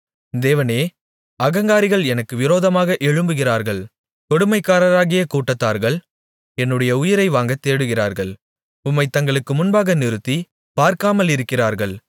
தேவனே அகங்காரிகள் எனக்கு விரோதமாக எழும்புகிறார்கள் கொடுமைக்காரராகிய கூட்டத்தார்கள் என்னுடைய உயிரை வாங்கத் தேடுகிறார்கள் உம்மைத் தங்களுக்கு முன்பாக நிறுத்தி பார்க்காமலிருக்கிறார்கள்